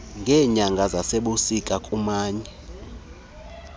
ngeenyanga zasebusika kumanye